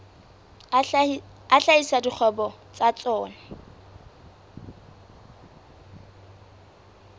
a hlahisa dikgwebo tsa tsona